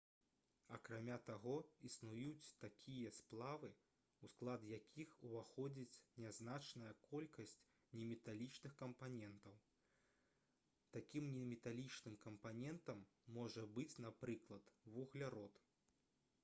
акрамя таго існуюць такія сплавы у склад якіх уваходзіць нязначная колькасць неметалічных кампанентаў такім неметалічным кампанентам можа быць напрыклад вуглярод